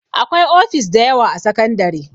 Akwai ofis dayawa a sakandare